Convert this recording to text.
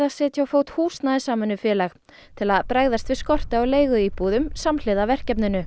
setja á fót húsnæðissamvinnufélag til að bregðast við skorti á leiguíbúðum samhliða verkefninu